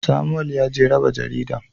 Samuwel yaje raba jaridan.